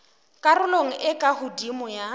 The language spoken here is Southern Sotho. karolong e ka hodimo ya